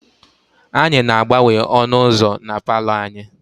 Anyị na-agbanwe ọnụ ụzọ na palọ anyị.